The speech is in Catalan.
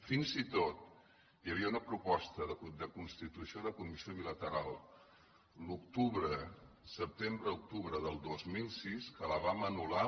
fins i tot hi havia una proposta de constitució de comissió bilateral al setembre octubre del dos mil sis que la vam anul·lar